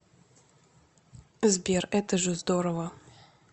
сбер это же здорово